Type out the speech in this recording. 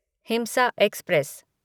हिमसा express